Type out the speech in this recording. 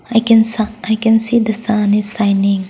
i can sa i can see the sun is shining.